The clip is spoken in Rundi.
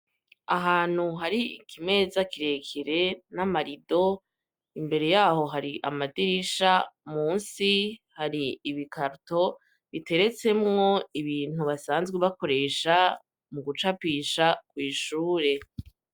Ahantu hari ikimeza kire kire n'amarido, imbere yaho hari amadirisha, munsi hari ibikarato biteretsemwo ibintu basanzwe bakoresha mu gucapisha ku ishure.